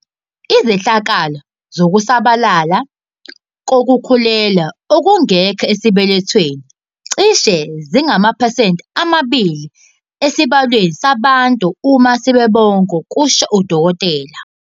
"Izehlakalo zokusabalala kokukhulelwa okungekho esibelethweni cishe zingamaphesenti amabili esibalweni sabantu uma sebebonke," kusho uDkt.